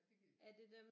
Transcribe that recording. Det gider jeg ikke